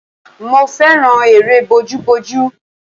Mo fẹ́ràn eré bojúbojú